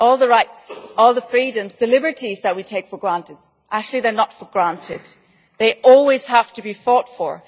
All the rights, the freedoms and the liberties that we take for granted are actually not for granted. They always have to be fought for.